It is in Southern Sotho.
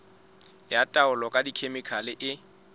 ya taolo ka dikhemikhale e